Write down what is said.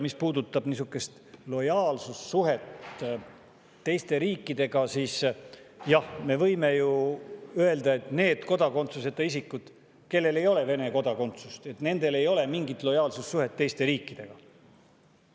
Mis puudutab lojaalsussuhet teiste riikidega, siis jah, me võime ju öelda, et nendel kodakondsuseta isikutel, kellel ei ole Vene kodakondsust, ei ole mingit lojaalsussuhet teiste riikidega.